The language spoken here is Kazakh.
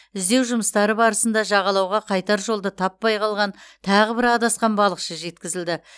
іздеу жұмыстары барысында жағалауға қайтар жолды таппай қалған тағы бір адасқан балықшы жеткізілді